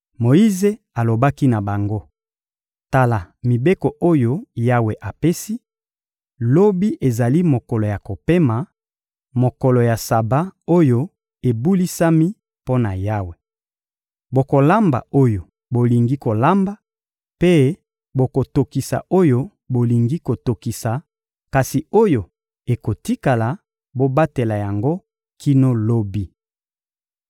Moyize alobaki na bango: — Tala mibeko oyo Yawe apesi: «Lobi ezali mokolo ya kopema, mokolo ya Saba oyo ebulisami mpo na Yawe. Bokolamba oyo bolingi kolamba mpe bokotokisa oyo bolingi kotokisa; kasi oyo ekotikala, bobatela yango kino lobi.»